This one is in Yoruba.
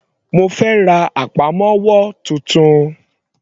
Mo fẹ́ ra àpamọ́wọ́ titun.